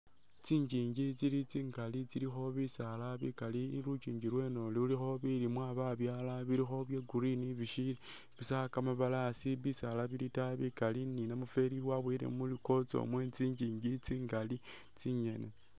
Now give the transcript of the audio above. Tsingingi tsili tsingali tsilikho bisaala bikali lukyingi lweno lulikho bilimwa babyala bilikho bye green bishili busa kamabalasi bisala bili itayi bikali ni namufeli wabuwele mutsikotso mwe tsingingi [?]